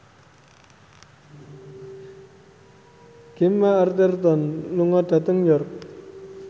Gemma Arterton lunga dhateng York